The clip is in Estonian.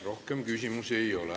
Rohkem küsimusi ei ole.